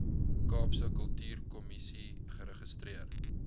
kaapse kultuurkommissie geregistreer